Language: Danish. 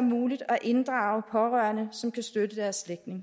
muligt at inddrage pårørende som kan støtte deres slægtning